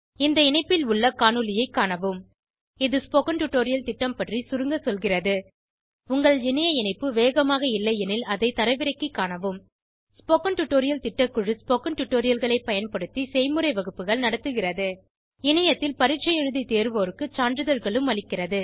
இந்த இணைப்பில் உள்ள காணொளியைக் காணவும் இது ஸ்போகன் டுடோரியல் திட்டம் பற்றி சுருங்க சொல்கிறது உங்கள் இணைய இணைப்பு வேகமாக இல்லையெனில் அதை தரவிறக்கிக் காணவும் ஸ்போகன் டுடோரியல் திட்டக்குழு ஸ்போகன் டுடோரியல்களைப் பயன்படுத்தி செய்முறை வகுப்புகள் நடத்துகிறது இணையத்தில் பரீட்சை எழுதி தேர்வோருக்கு சான்றிதழ்களும் அளிக்கிறது